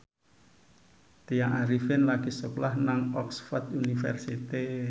Tya Arifin lagi sekolah nang Oxford university